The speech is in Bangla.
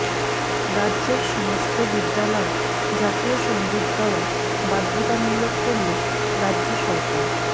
রাজ্যের সমস্ত বিদ্যালয়ে জাতীয় সঙ্গীত গাওয়া বাধ্যতামূলক করল রাজ্য সরকার